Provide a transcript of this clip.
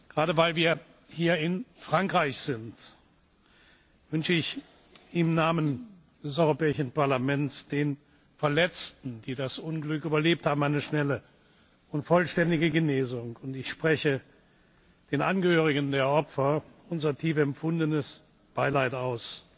Gerade weil wir hier in Frankreich sind, wünsche ich im Namen des Europäischen Parlaments den Verletzten, die das Unglück überlebt haben, eine schnelle und vollständige Genesung, und ich spreche den Angehörigen der Opfer unser tief empfundenes Beileid aus.